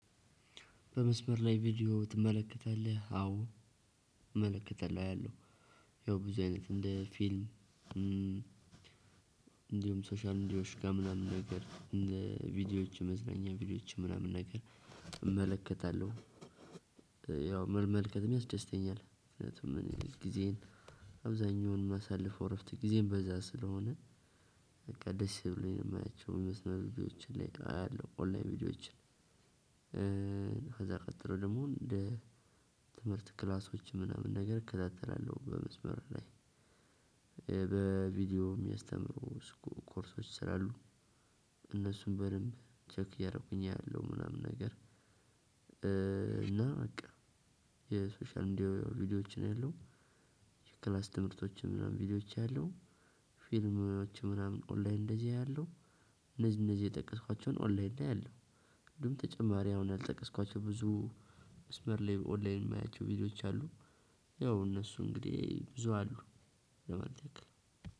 በመስመር ላይ ቪዲዮ ትመለከታለህ? አዎ እመለከታለሁ አያለሁ። ያው ብዙ አይነት እንደ ፊልም። እንዲሁም ሶሻል ሚዲያዎች ጋር ምናምን ነገር እንደ ቪዲዮዎችም መዝናኛ ቪዲዮዎች ምናምን ነገር እመለከታለሁ። ያው መመልከትም ያስደስተኛል ምክኒያቱም እኔ ጊዜዬን አብዛኛውን የማሳልፈው እረፍት ጊዜዬን በዛ ስለሆነ በቃ ደስ ብሎኝ ነው የማያቸው የመስመር ቪዲዮዎችን ላይ አያለሁ ኦንላይን ቪዲዮዎችን። ከዛ ቀጥሎ ደግሞ እንደ ትምህርት ክላሶች ምናምን ነገር እከታተላለሁ በመስመር ላይ። በቪዲዮ የሚያስተምሩ ኮርሶች ስላሉ እነሱን በደንብ ቼክ እያደረኩኝ አያለሁ ምናምን ነገር። እና በቃ የሶሻል እንዲሁ ያው ቪዲዮዎችን አያለው። የክላስ ትምህርቶችን ምናምን ቪዲዮዎች አያለው። ፊልሞችን ኦንላይን እንደዚህ አያለሁ። እነዚህ እነዚህ የጠቀስኳቸውን ኦንላይን ላይ አለው። እንዲሁ ተጨማሪ አሁን አልጠቀስኳቸውም ብዙ መስመር ላይ ኦንላይን የማያቸው ቪዲዮዎች አሉ። ያው እነሱ እንግዲህ ብዙ አሉ። ለመተክል